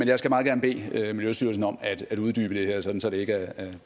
jeg skal meget gerne bede miljøstyrelsen om at uddybe det her sådan at det ikke er